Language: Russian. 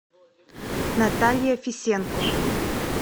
наталья фисенко